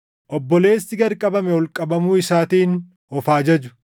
Obboleessi gad qabame ol qabamuu isaatiin of haa jaju.